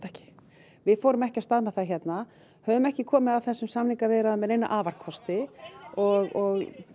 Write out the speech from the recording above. ekki við fórum ekki af stað með það hérna höfum ekki komið að þessum samningaviðræðum með neina afarkosti og